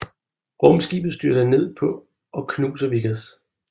Rumskibet styrter ned på og knuser Vickers